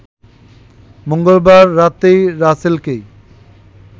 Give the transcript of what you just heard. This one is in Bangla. মঙ্গলবার রাতেই রাসেলকেই